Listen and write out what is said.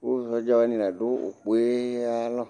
kò sɔdza wani la du ukpɔ yɛ ayi alɔ